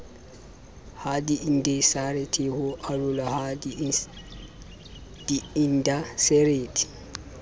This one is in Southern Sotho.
hadiindaseteri ho arolwa ha diindaseteri